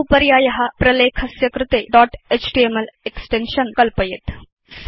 असौ पर्याय प्रलेखस्य कृते दोत् एचटीएमएल एक्सटेन्शन् कल्पयेत्